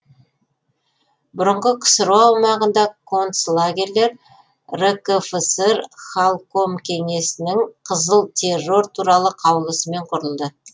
бұрынғы ксро аумағында концлагерлер ркфср халкомкеңесінің қызыл террор туралы қаулысымен құрылды